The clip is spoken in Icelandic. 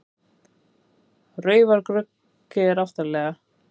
Raufaruggi er aftarlega.